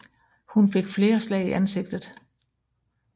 Hun fik flere slag i ansigtet